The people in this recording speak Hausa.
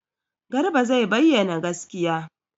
Garba zai bayyana gaskiya.